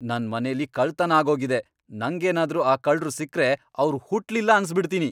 ನನ್ ಮನೆಲಿ ಕಳ್ತನ ಆಗೋಗಿದೆ, ನಂಗ್ ಏನಾದ್ರೂ ಆ ಕಳ್ರು ಸಿಕ್ರೆ ಅವ್ರ್ ಹುಟ್ಲಿಲ್ಲ ಅನ್ಸ್ಬಿಡ್ತೀನಿ.